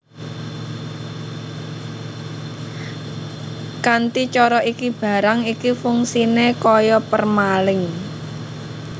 Kanthi cara iki barang iki fungsiné kaya permalink